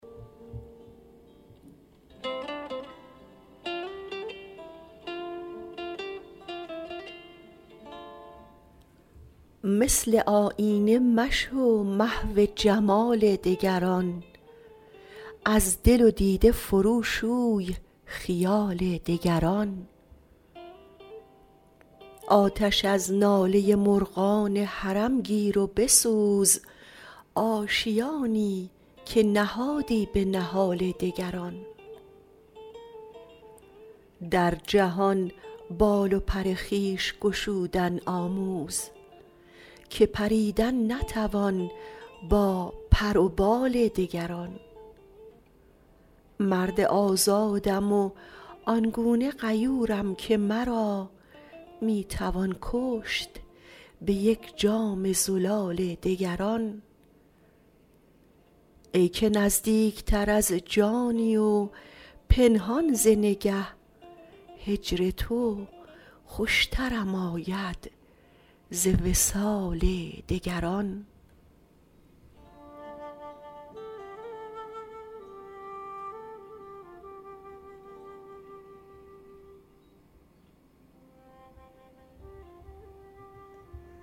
مثل آیینه مشو محو جمال دگران از دل و دیده فرو شوی خیال دگران آتش از ناله مرغان حرم گیر و بسوز آشیانی که نهادی به نهال دگران در جهان بال و پر خویش گشودن آموز که پریدن نتوان با پر و بال دگران مرد آزادم و آن گونه غیورم که مرا می توان کشت به یک جام زلال دگران ای که نزدیک تر از جانی و پنهان ز نگه هجر تو خوشترم آید ز وصال دگران